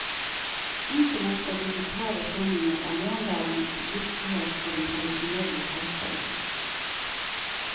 Internett og digitale sendinger er morgendagens virkelighet for den tradisjonelle kortbølgen.